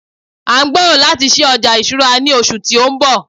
a n gbero lati sí oja ìṣura ni oṣù ti o nbọ